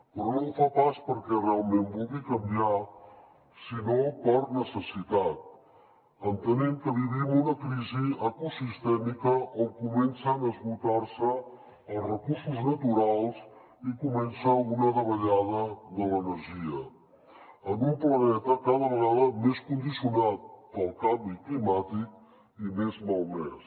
però no ho fa pas perquè realment vulgui canviar sinó per necessitat entenent que vivim una crisi ecosistèmica on comencen a esgotar se els recursos naturals i comença una davallada de l’energia en un planeta cada vegada més condicionat pel canvi climàtic i més malmès